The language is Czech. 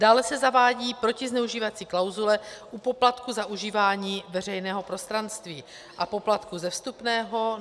Dále se zavádí protizneužívací klauzule u poplatku za užívání veřejného prostranství a poplatku ze vstupného.